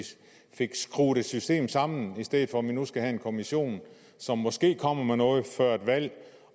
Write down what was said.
fik skruet et system sammen i stedet for at vi nu skal have en kommission som måske kommer med noget før et valg